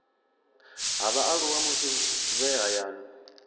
ha vhaaluwa musi vhe hayani